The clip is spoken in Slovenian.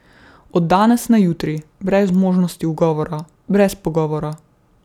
Od danes na jutri, brez možnosti ugovora, brez pogovora ...